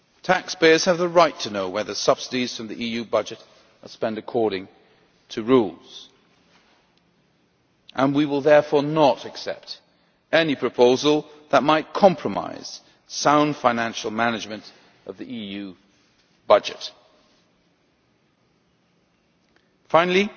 Taxpayers have the right to know whether subsidies from the EU budget are being spent according to the rules, and we will therefore not accept any proposal that might compromise the sound financial management of the EU budget. Finally,